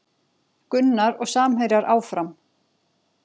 Gunnar og samherjar áfram